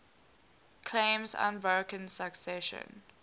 claims unbroken succession